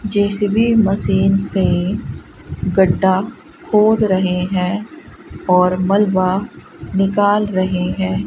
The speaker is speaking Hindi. जे_सी_बी मशीन से गड्ढा खोद रहे हैं और मलबा निकल रहे है।